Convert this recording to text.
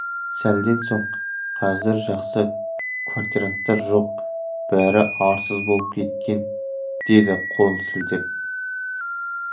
сәлден соң қазір жақсы квартиранттар жоқ бәрі арсыз болып кеткен деді қолын сілтеп